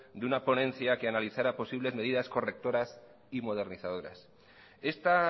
de una ponencia que analizara posibles medidas correctoras y modernizadoras esta